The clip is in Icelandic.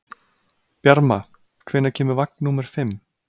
Bjarma, hvenær kemur vagn númer fimm?